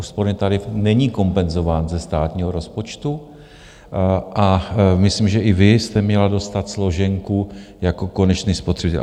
Úsporný tarif není kompenzován ze státního rozpočtu a myslím, že i vy jste měla dostat složenku jako konečný spotřebitel.